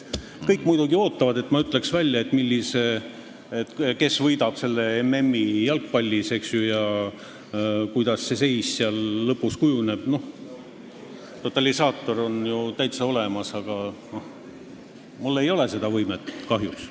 Kõik muidugi ootavad, et ma ütleksin välja, kes võidab MM-i jalgpallis, eks ju, ja kuidas see seis lõpus kujuneb – totalisaator on ju täitsa olemas –, aga mul ei ole seda võimet, kahjuks.